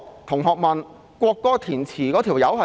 同學問國歌的填詞人是誰？